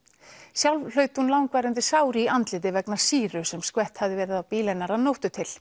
sjálf hlaut hún langvarandi sár í andliti vegna sýru sem skvett hafði verið á bíl hennar að nóttu til